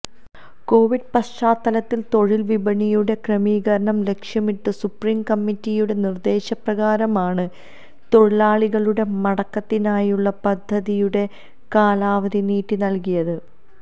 Covid പശ്ചാത്തലത്തിൽ തൊഴിൽ വിപണിയുടെ ക്രമീകരണം ലക്ഷ്യമിട്ട് സുപ്രീം കമ്മിറ്റിയുടെ നിർദേശപ്രകാരമാണ് തൊഴിലാളികളുടെ മടക്കത്തിനായുള്ള പദ്ധതിയുടെ കാലാവധി നീട്ടി നൽകിയത്